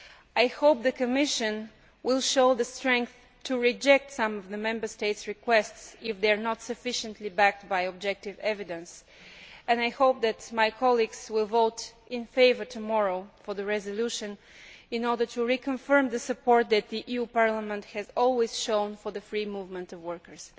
I hope the Commission will show the strength to reject some of the Member States' requests if they are not sufficiently backed by objective evidence, and I hope that my colleagues will vote in favour of the resolution tomorrow in order to reconfirm the support that the EU Parliament has always shown for the free movement of workers.